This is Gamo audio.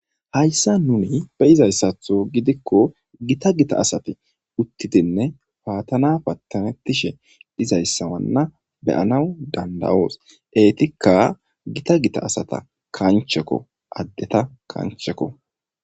Hayssa nuni be izayssatho gidikko gita gita asati uttitinne paatana pattanettishe izayssawanna beyanaw danda7oos eetikka gita gita asata kanchekko addeta kanchekko.